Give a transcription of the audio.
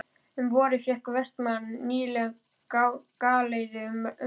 Um vorið fékk Vestmann nýlega galeiðu til umráða.